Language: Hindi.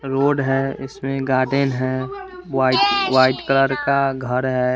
रोड है इसमें एक गार्डन है व्हाइट व्हाइट कलर का घर है।